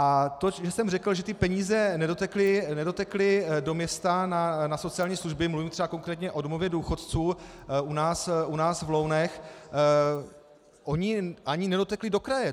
A to, že jsem řekl, že ty peníze nedotekly do města na sociální služby, mluvím třeba konkrétně o domově důchodců u nás v Lounech, ony ani nedotekly do kraje.